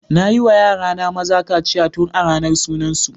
Nayi wa yara na maza kaciya tun a ranar sunan su.